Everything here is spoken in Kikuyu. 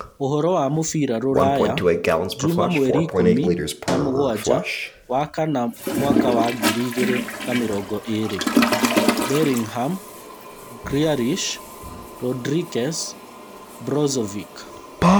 Ũhoro wa mũbira rũraya Juma mweri ikũmi na mũgwanja wa-kana mwaka wa ngiri igĩrĩ na mĩrongo ĩĩrĩ: Bellingham, Grealish, Rodrikuez, Brozovic